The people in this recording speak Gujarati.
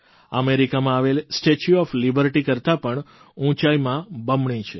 અમેરિકામાં આવેલ સ્ટેચ્યુ ઓફ લિબર્ટી કરતાં પણ ઉંચાઇમાં બમણી છે